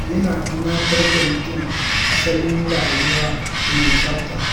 yana tunatar da mutum asalin rayuwa mai tsafta.